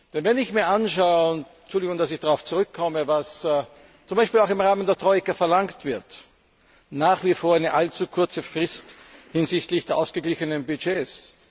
Denn wenn ich mir anschaue Entschuldigung, dass ich darauf zurückkomme was zum Beispiel auch im Rahmen der Troika verlangt wird nach wie vor eine allzu kurze Frist hinsichtlich der ausgeglichenen Budgets.